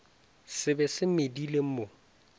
se be se medile mo